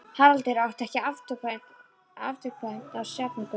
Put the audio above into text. Haraldur átti ekki afturkvæmt á Sjafnargötu.